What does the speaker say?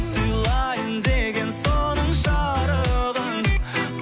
сыйлайын дегем соның жарығын